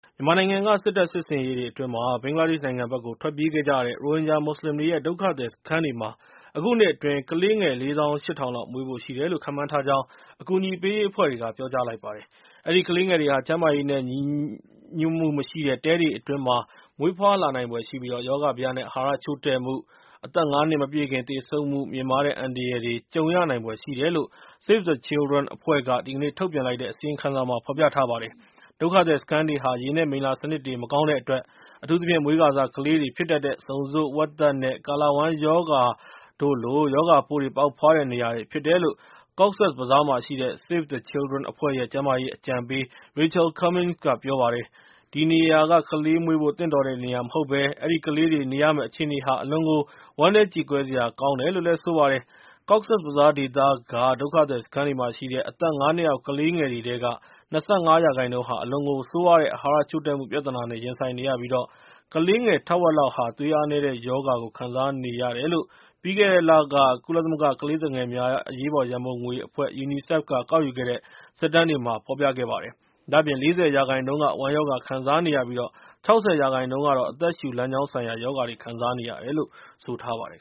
မြန်မာနိုင်ငံက စစ်တပ်စစ်ဆင်ရေးတွေအတွင်း ဘင်္ဂလားဒေ့ရှ်နိုင်ငံဘက်ကို ထွက်ပြေးခဲ့ကြတဲ့ ရိုဟင်ဂျာမွတ်စလင်တွေရဲ့ ဒုက္ခသည်စခန်းတွေမှာ အခုနှစ်အတွင်း ကလေးငယ် ၄သောင်း ၈ထောင်လောက် မွေးဖို့ရှိတယ်လို့ ခန့်မှန်းထာကြောင်း အကူအညီပေးရေးအဖွဲ့တွေက ခန့်မှန်းလိုက်ပါတယ်။ အဲဒီကလေးငယ်တွေဟာ ကျန်းမာရေးနဲ့ ညီညွတ်မှုမရှိတဲ့ တဲတွေအတွင်းမှာ မွေးဖွာလာနိုင်ဖွယ်ရှိပြီး၊ ရောဂါဘယ နဲ့ အဟာရချို့တဲ့မှု အသက် ၅ နှစ်မပြည့်ခင်သေဆုံးမှု မြင့်မားတဲ့အန္တရာယ်တွေ၊ ကြုံရနိုင်ဖွယ်ရှိတယ်လို့ Save The Children အဖွဲ့က ဒီကနေ့ ထုတ်ပြန်လိုက်တဲ့ အစီရင်ခံစာမှာ ဖော်ပြထားပါတယ်။ ဒုက္ခသည်စခန်းတွေဟာ ရေနဲ့မိလ္လာစနစ်တွေ မကောင်းတဲ့အတွက် အထူးသဖြင့် မွေးခါစကလေးတွေဖြစ်တတ်တဲ့ ဆုံဆို့နာ ၊ ဝက်သက် နဲ့ ကာလာဝမ်းရောဂါတို့လို ရောဂါပိုးတွေပေါက်ဖွားတဲ့နေရာတွေဖြစ်တယ်လို့ Cox’s Bazaar မှာရှိတဲ့ Save the Children အဖွဲ့ရဲ့ ကျန်းမာရေးအကြံပေး Rachael Cummings က ပြောပါတယ်။ ဒီနေရာကလေးမွေးဖို့ သင့်တော်တဲ့နေရာမဟုတ်ဘဲ၊ အဲဒီကလေးတွေ နေရမယ့်အခြေအနေဟာ အလွန်ကိုဝမ်းနည်းကြေကွဲစရာကောင်းတယ်လို့ ဆိုပါတယ်။ Cox’s Bazaar ဒေသက ဒုက္ခသည်စခန်းတွေမှာရှိတဲ့ အသက် ၅ နှစ်အောက်ကလေးငယ်တွေထဲက ၂၅ ရာခိုင်နှုန်းဟာ အလွန်ကိုဆိုးရွားတဲ့ အဟာရချို့တဲ့မှု ပြဿနာနဲ့ ရင်ဆိုင်နေရပြီး၊ ကလေးငယ် ထက်ဝက်လောက်ဟာ သွေးအားနည်းတဲ့ရောဂါကိုခံစားနေရတယ်လို့ ပြီးခဲ့တဲ့လက ကုလသမဂ္ဂကလေးသူငယ်များအရေးပေါ်ရံပုံငွေအဖွဲ့ UNICEF က ကောက်ယူခဲ့တဲ့ စစ်တမ်းတွေက ဖော်ပြပါတယ်။ ဒါ့အပြင် ၄၀ ရာခိုင်နှုန်းက ဝမ်းရောဂါခံစားနေရပြီး၊ ၆၀ ရာခိုင်နှုန်းက အသက်ရှုလမ်းကြောင်းဆိုင်ရာ ရောဂါတွေ ခံစားနေရတယ်လို့ ဆိုပါတယ်